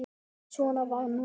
Svona var nú það.